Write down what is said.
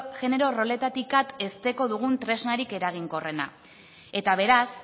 genero roletatik at hezteko dugun tresnarik eraginkorrenak eta beraz